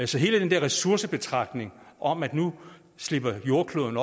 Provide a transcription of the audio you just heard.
så hele den der ressourcebetragtning om at nu slipper jordklodens